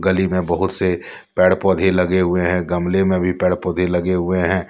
गली में बहुत से पेड़ पौधे लगे हुए हैं गमले में भी पेड़ पौधे लगे हुए हैं।